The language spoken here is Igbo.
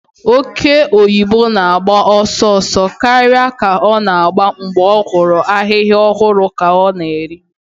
Oke oyibo na-agba ọsọ ọsọ karịa ka ọ na-agba mgbe ọ hụrụ ahịhịa ọhụrụ ka ọ na-eri.